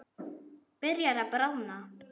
Byrjar að bráðna.